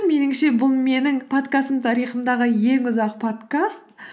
меніңше бұл менің подкастым тарихымдағы ең ұзақ подкаст